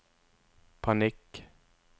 panikk